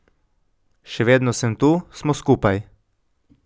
Še vedno sem tu, smo skupaj.